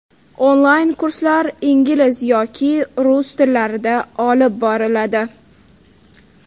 Onlayn kurslar ingliz yoki rus tillarida olib boriladi.